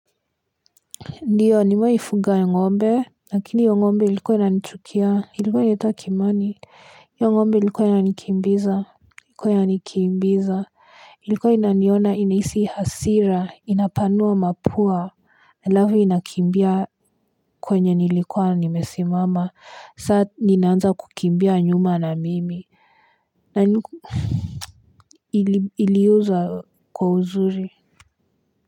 Ndiyo nimewahi fuga ngombe lakini hio ngombe ilikuwa inanichukia ilikuwa inaitwa kimani hio ngombe ilikuwa inanikimbiza ilikuwa inaniona inahisi hasira inapanua mapua alafu inakimbia kwenye nilikuwa nimesimama saa ninaanza kukimbia nyuma na mimi na niku iliuzwa kwa uzuri.